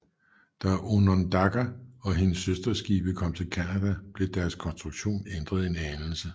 Da Onondaga og hendes søsterskibe kom til Canada blev deres konstruktion ændret en anelse